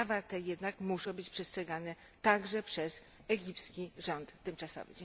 Prawa te jednak muszą być przestrzegane także przez egipski rząd tymczasowy.